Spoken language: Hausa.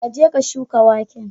ka je ka shuka waken.